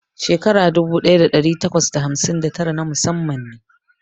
Shekara dubu ɗaya ɗari takwas da hamsin da tara na musamman ne.